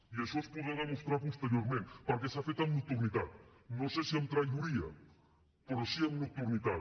i això es podrà demostrar posteriorment perquè s’ha fer amb nocturnitat no sé si amb traïdoria però sí que amb nocturnitat